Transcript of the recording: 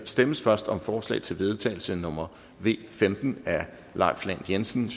stemmes først om forslag til vedtagelse nummer v femten af leif lahn jensen